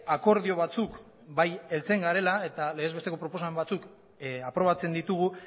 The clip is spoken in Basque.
akordio batzuk bai heltzen garela eta legez besteko proposamen batzuk aprobatzen ditugu